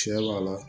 Tiɲɛ b'a la